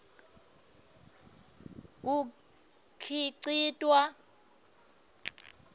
kukhicitwa